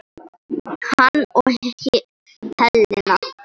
Hann og Helena.